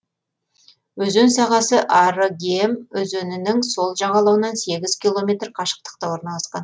өзен сағасы арыгем өзенінің сол жағалауынан сегіз километр қашықтықта орналасқан